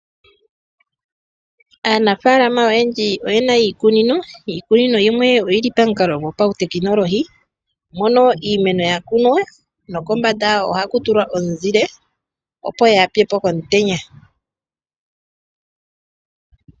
Aanafaalama oyendji oye na iikunino, iikunino yimwe oyi li pamukalo gwopautekinolohi mo no iimeno ya kunwa nokombanda ya wo ohaku tulwa omuzile opo yaapyepo komutenya.